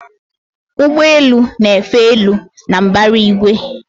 Ụgbọ elu na-efe elu na mbara igwe